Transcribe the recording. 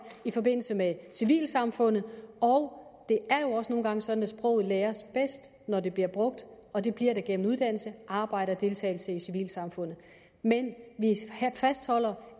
i forbindelse med civilsamfundet og det er jo også nogle gange sådan at sproget læres bedst når det bliver brugt og det bliver det gennem uddannelse arbejde og deltagelse i civilsamfundet men vi fastholder